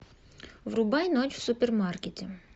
врубай ночь в супермаркете